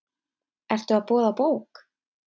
Ertu að boða bók?